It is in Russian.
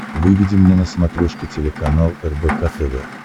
выведи мне на смотрешке телеканал рбк тв